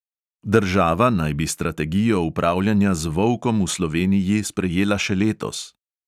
Država naj bi strategijo upravljanja z volkom v sloveniji sprejela še letos.